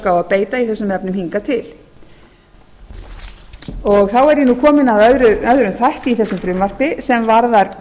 að beita í þessum efnum hingað til þá er ég komin að öðrum þætti í þessu frumvarpi sem varðar